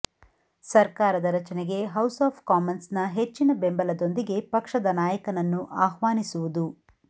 ಸರ್ಕಾರದ ರಚನೆಗೆ House of ಕಾಮನ್ಸ್ನ ಹೆಚ್ಚಿನ ಬೆಂಬಲದೊಂದಿಗೆ ಪಕ್ಷದ ನಾಯಕನನ್ನು ಆಹ್ವಾನಿಸುವುದು